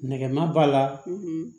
Nɛgɛma b'a la